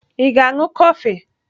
Ị ga-aṅụ kọfị?